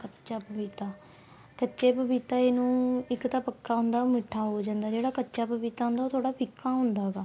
ਕੱਚਾ ਪਪੀਤਾ ਕੱਚਾ ਪਪੀਤਾ ਇੰਨੁ ਇੱਕ ਤਾਂ ਪੱਕਾ ਹੁੰਦਾ ਉਹ ਮਿੱਠਾ ਹੋ ਜਾਂਦਾ ਜਿਹੜਾ ਕੱਚਾ ਪਪੀਤਾ ਹੁੰਦਾ ਉਹ ਥੋੜਾ ਫੀਕਾ ਹੁੰਦਾ ਵਾ